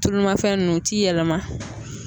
Tulumafɛn ninnu u ti yɛlɛma.